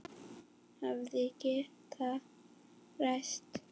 Hefði getað ræst.